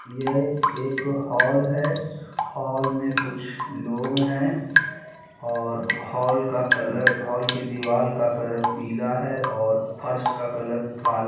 एक हॉल है और हॉल मे कुछ लोग है और हॉल का कलर हॉल के दीवाल का कलर पीला है और फर्श का कलर काला है।